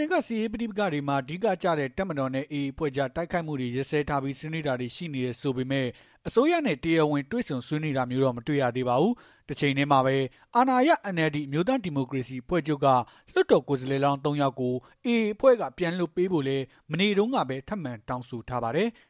နယ်က စစ်ရေးပဋိပက္ခတွေမှာ အဓိကကျတဲ့ တပ်မတော်နဲ့ AA အဖွဲ့ကြား တိုက်ခိုက်မှုတွေရပ်စဲထားပြီး ဆွေးနွေးတာတွေလည်း ရှိနေတယ် ဆိုပေမဲ့ အစိုးရနဲ့ တရားဝင်တွေ့ဆုံဆွေးနွေးတာမျိုးတော့ မတွေ့ရသေးပါဘူး။ တချိန်တည်းမှာပဲ အာဏာရ NLD အမျိုးသားဒီမိုကရေစီ အဖွဲ့ချုပ်က လွှတ်တော်ကိုယ်စားလှယ်လောင်း ၃ ယောက်ကို AA အဖွဲ့က ပြန်လွှတ်ပေးဖို့လည်း မနေ့တုန်းကပဲ ထပ်မံတောင်းဆိုထားပါတယ်။